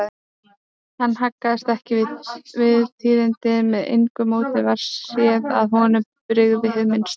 Hann haggaðist ekki við tíðindin, með engu móti varð séð að honum brygði hið minnsta.